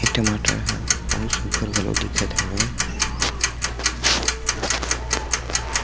ए टमाटर ह बहुत सुघघर घलो दिखत हवय।